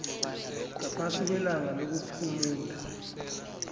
ngaphasi kwelanga lokuphumula